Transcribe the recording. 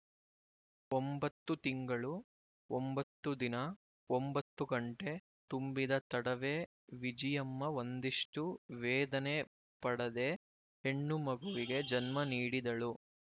ಒಂಬತ್ತು ತಿಂಗಳು ಒಂಬತ್ತು ದಿನ ಒಂಬತ್ತು ಗಂಟೆ ತುಂಬಿದ ತಡವೇ ವಿಜಿಯಮ್ಮ ಒಂದಿಷ್ಟು ವೇದನೆ ಪಡದೆ ಹೆಣ್ಣು ಮಗುವಿಗೆ ಜನ್ಮ ನೀಡಿದಳು